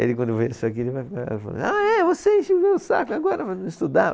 Ele quando ver isso aqui ele vai, vai falar, ah é, você encheu o meu saco agora mandando estudar.